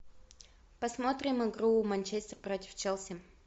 посмотрим игру манчестер против челси